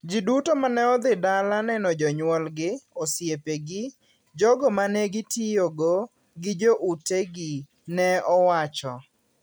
Ji duto mane dhi dala neno jonyuogi, osiepegi, jogo ma ne gitiyogo gi joutegi, ne owacho.